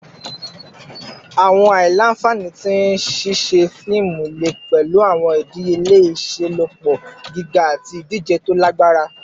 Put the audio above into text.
Awọn aila-nfani ti ṣiṣe fiimu le pẹlu awọn idiyele iṣelọpọ giga ati idije to lagbara